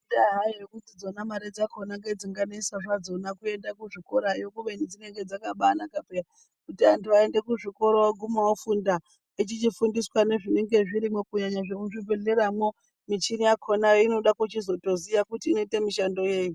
Indaa-hayo yekuti imare dzakona ngedzinganesa zvadzo kuenda kuzvikorayo kubeni dzinonga dzakaba anakapeya kuti antu aende kuzvikora oguma ofunda echichifundiswa nezvinenge zvirimwo kunyanya zvemizvibhehlermwo kunyanya michinini yakona inoda kutozoziya kuti inoita mishando yei.